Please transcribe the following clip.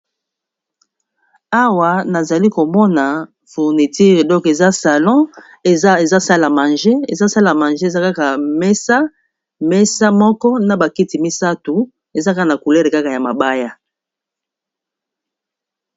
Awa nazali komona fourniture donc eza salon eza salle a mange eza sala mange eza kaka mesa mesa moko na bakiti misato eza kaka na couleur kaka ya mabaya.